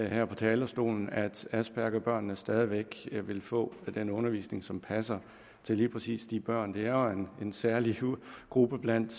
her fra talerstolen at aspergerbørnene stadig væk vil få den undervisning som passer til lige præcis de børn det er jo en særlig gruppe blandt